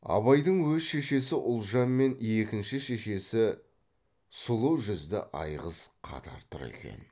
абайдың өз шешесі ұлжан мен екінші шешесі сұлу жүзді айғыз қатар тұр екен